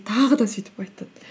тағы да сөйтіп айтады